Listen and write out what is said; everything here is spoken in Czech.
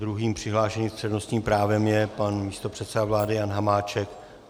Druhým přihlášeným s přednostním právem je pan místopředseda vlády Jan Hamáček.